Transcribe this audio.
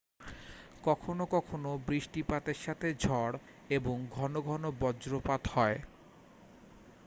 কখনও কখনও বৃষ্টিপাতের সাথে ঝড় এবং ঘন ঘন বজ্রপাত হয়